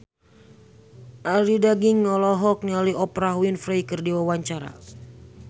Arie Daginks olohok ningali Oprah Winfrey keur diwawancara